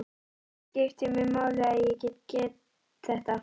Það skiptir mig máli að ég get þetta.